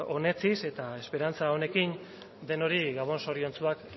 onetsiz eta esperantza honekin denoi gabon zoriontsuak